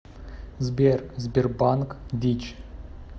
сбер сбербанк дичь